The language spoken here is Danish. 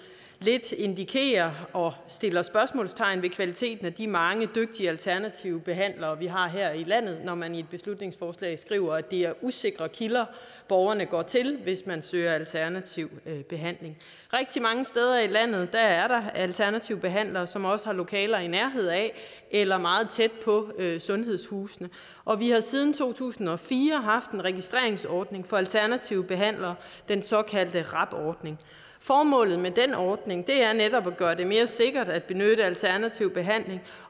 lidt indikerer og sætter spørgsmålstegn ved kvaliteten af de mange dygtige alternative behandlere vi har her i landet når man i et beslutningsforslag skriver at det er usikre kilder borgerne går til hvis man søger alternativ behandling rigtig mange steder i landet er der alternative behandlere som også har lokaler i nærheden af eller meget tæt på sundhedshusene og vi har siden to tusind og fire haft en registreringsordning for alternative behandlere den såkaldte rab ordning formålet med den ordning er netop at gøre det mere sikkert at benytte alternativ behandling